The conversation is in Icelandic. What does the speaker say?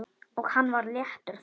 Og hann var léttur þá.